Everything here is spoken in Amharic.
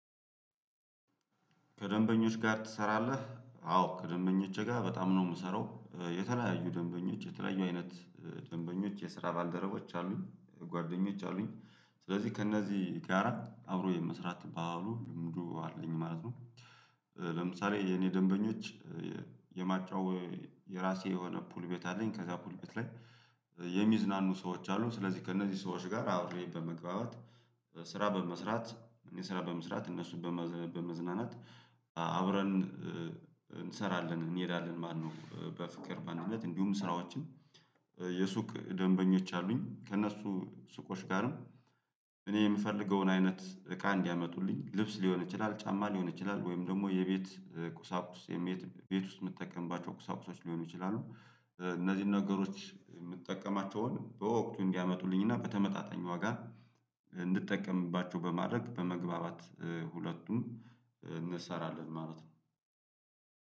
ከደንበኞች ጋር ትሰራለህ? አዎ ከደንበኞቼ ጋር በጣም ነው የምሰራው የተለያዩ ደንበኞች የተለያዩ አይነት ደንበኞች የስራ ባልደረቦች አሉኝ ጓደኞች አሉኝ ስለዚህ ከእነዚህ ጋር አብሮ የመስራት ባህሉ ልምዱ አለኝ ማለት ነው። ለምሳሌ የኔ ደንበኞች የማጫወ የራሴ የሆነ ፑል ቤት አለኝ። ከዛ ፑል ቤት ላይ የሚዝናኑ ሰዎች አሉ ስለዚህ ከእነዚህ ሰዎች ጋር አውሬ በመግባባት። ስራ በመስራት እኔ ስራ በመስራት እነሱን በመዝናናት አብረን እንሰራለን እንሄዳለን። ማነው በፍቅር ማንነት እንዲሁም ስራዎችን የሱቅ ደንበኞች አሉኝ። ከእነሱ ሱቆች ጋርም እኔ የምፈልገውን አይነት እቃ እንዲያመጡልኝ ልብስ ሊሆን ይችላል ጫማ ሊሆን ይችላል ወይም ደግሞ የቤት ቁሳቁስ የሜት ቤት ውስጥ የምትጠቀምባቸው ቁሳቁሶች ሊሆኑ ይችላሉ። እነዚህን ነገሮች የምትጠቀማቸውን በወቅቱ እንዲያመጡልኝ እና በተመጣጣኝ ዋጋ እንድጠቀምባቸው በማድረግ በመግባባት ሁለቱም እንሰራለን ማለት ነው።